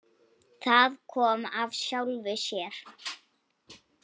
Það kom af sjálfu sér.